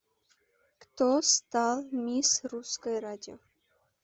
кто стал мисс русское радио